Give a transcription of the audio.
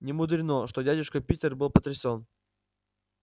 немудрено что дядюшка питер был потрясен